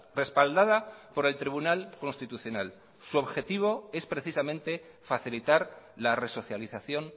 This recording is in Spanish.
respaldada por el tribunal constitucional su objetivo es precisamente facilitar la resocialización